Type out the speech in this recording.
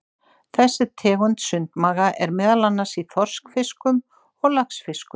Þessi tegund sundmaga er meðal annars í þorskfiskum og laxfiskum.